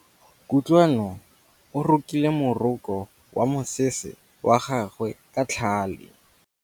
Kutlwanô o rokile morokô wa mosese wa gagwe ka tlhale.